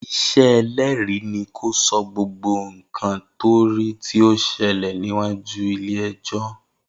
Isẹ ẹlẹ́rìí ni kó sọ gbogbo nkan to ri ti ọ ṣẹlẹ̀ níwájú ilé ẹjọ́